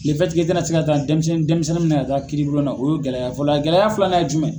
i tɛna se ka taa denmisɛnnin denmisɛnninw minɛ ka taa kiri bulon na o ye gɛlɛya fɔlɔ, a gɛlɛya filanan ye jumɛn.